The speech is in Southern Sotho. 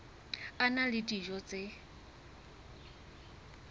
a na le dijo tse